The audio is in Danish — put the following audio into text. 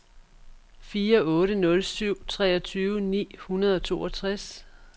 fire otte nul syv treogtyve ni hundrede og toogtres